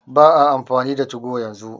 Ba'a amfani da 2go yanzu.